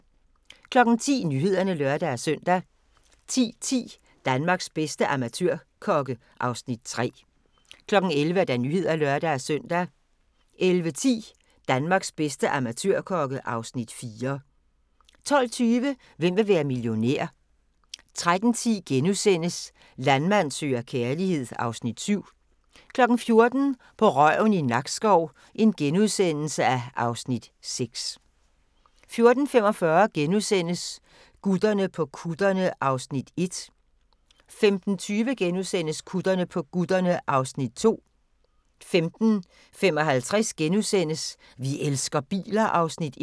10:00: Nyhederne (lør-søn) 10:10: Danmarks bedste amatørkokke (Afs. 3) 11:00: Nyhederne (lør-søn) 11:10: Danmarks bedste amatørkokke (Afs. 4) 12:20: Hvem vil være millionær? 13:10: Landmand søger kærlighed (Afs. 7)* 14:00: På røven i Nakskov (Afs. 6)* 14:45: Gutterne på kutterne (Afs. 1)* 15:20: Gutterne på kutterne (Afs. 2)* 15:55: Vi elsker biler (Afs. 1)*